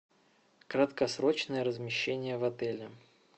краткосрочное размещение в отеле